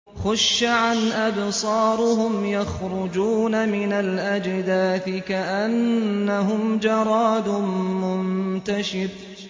خُشَّعًا أَبْصَارُهُمْ يَخْرُجُونَ مِنَ الْأَجْدَاثِ كَأَنَّهُمْ جَرَادٌ مُّنتَشِرٌ